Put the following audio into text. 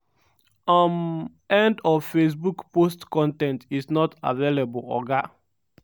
um end of facebook post con ten t is not available oga